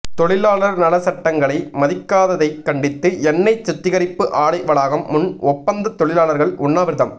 தொழிலாளர் நல சட்டங்களை மதிக்காததை கண்டித்து எண்ணெய் சுத்திகரிப்பு ஆலை வளாகம் முன் ஒப்பந்த தொழிலாளர்கள் உண்ணாவிரதம்